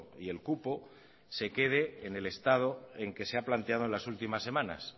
y el cupo se quede en el estado en el que se ha planteado en las últimas semanas